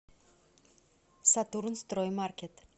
сатурнстроймаркет